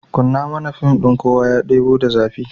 Kunna mana fim ɗin "Kowa ya Ɗebo da Zafi".